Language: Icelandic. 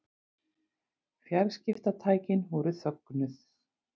Fjarskiptatækin voru þögnuð.